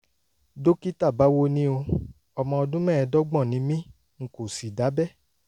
dókítà báwo ni o? ọmọ ọdún mẹ́ẹ̀ẹ́dọ́gbọ̀n ni mí n kò sì dábẹ́